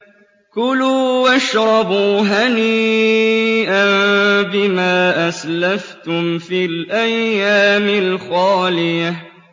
كُلُوا وَاشْرَبُوا هَنِيئًا بِمَا أَسْلَفْتُمْ فِي الْأَيَّامِ الْخَالِيَةِ